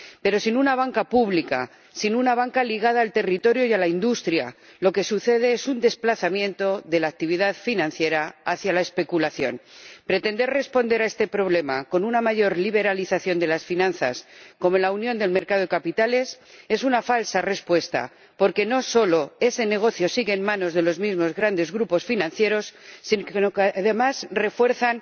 Pero sin una banca pública, sin una banca ligada al territorio y a la industria, lo que sucede es un desplazamiento de la actividad financiera hacia la especulación. Pretender responder a este problema con una mayor liberalización de las finanzas, como la Unión de los Mercados de Capitales, es una falsa respuesta, porque no solo ese negocio sigue en manos de los mismos grandes grupos financieros, sino que además, refuerza